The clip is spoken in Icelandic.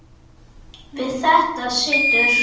Við þetta situr.